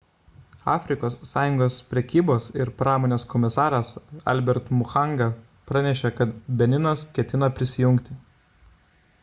afrikos sąjungos prekybos ir pramonės komisaras albert muchanga pranešė kad beninas ketina prisijungti